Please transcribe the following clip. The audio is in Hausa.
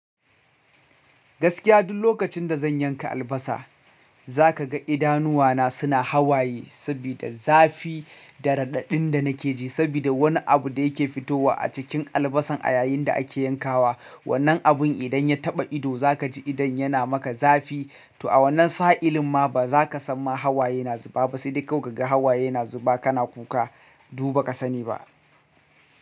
Gaskiya duk lokacin da zan yanka albasa, zaka ga idanuwana suna hawaye sabida zafi da raɗaɗin da nake ji sabida wani abu da yake fitowa a cikin albasan a yayin da ake yankawa. Wannan abun idan ya taɓa ido za ka ji idan yana maka zafi. To a wannan sa'ilima ba zaka san ma hawaye na zuba ba sai dai ka ga hawaye na zuba kana kuka. Du baka sani ba.